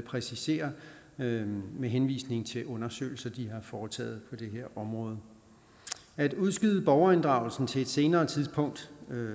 præciserer med henvisning til undersøgelser de har foretaget på det her område at udskyde borgerinddragelsen til et senere tidspunkt